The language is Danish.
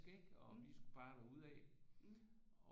Frisk ikke og vi skulle bare derud af